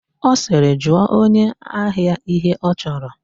Ọ sịrị, "jụọ onye ahia ihe ọ chọrọ"!